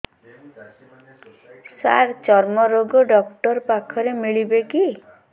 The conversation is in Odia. ସାର ଚର୍ମରୋଗ ଡକ୍ଟର ପାଖରେ ମିଳିବେ କି